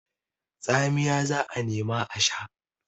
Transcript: Tsamiya za a nema a sha.